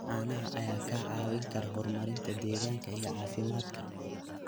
Caanaha ayaa kaa caawin kara horumarinta deegaanka iyo caafimaadka.